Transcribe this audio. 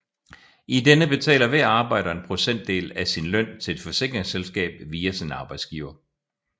I denne betaler hver arbejder en procentdel af sin løn til et forsikringsselskab via sin arbejdsgiver